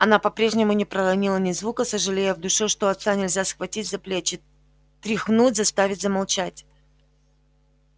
она по-прежнему не проронила ни звука сожалея в душе что отца нельзя схватить за плечи тряхнуть заставить замолчать